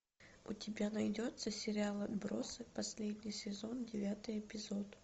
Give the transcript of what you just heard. у тебя найдется сериал отбросы последний сезон девятый эпизод